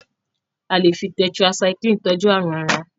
a lẹ fí tetracycline tọjú àrùn àrà